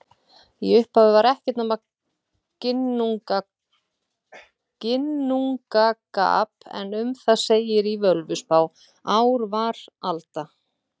Í upphafi var ekkert nema Ginnungagap en um það segir í Völuspá: Ár var alda,